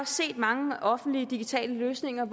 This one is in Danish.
set mange offentlige digitale løsninger